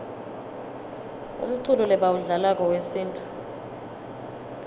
umculo lebawudlalako wesintfu